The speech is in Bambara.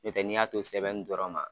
N'o tɛ n'i y'a to sɛbɛnni dɔrɔn ma